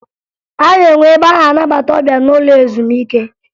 A na-enwe ebe a na-anabata ọbịa n'ụlọ ezumike